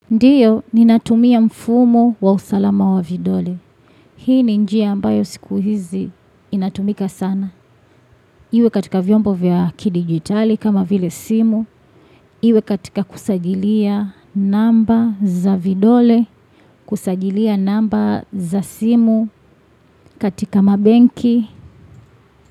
Ndiyo, ninatumia mfumo wa usalama wa vidole. Hii ni njia ambayo siku hizi inatumika sana. Iwe katika vyombo vya kidigitali kama vile simu. Iwe katika kusajilia namba za vidole. Kusajilia namba za simu katika mabenki.